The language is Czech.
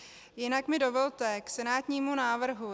Jinak mi dovolte k senátnímu návrhu.